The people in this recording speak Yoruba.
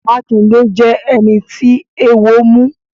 Makinde jẹ ẹni tí eewo mu.